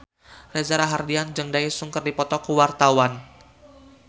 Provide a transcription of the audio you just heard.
Reza Rahardian jeung Daesung keur dipoto ku wartawan